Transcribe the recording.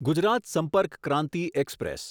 Gujarat Sampark Kranti express